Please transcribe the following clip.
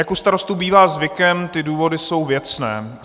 Jak u Starostů bývá zvykem, ty důvody jsou věcné.